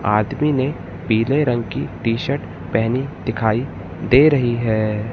आदमी ने पीले रंग की टी शर्ट पहनी दिखाई दे रही है।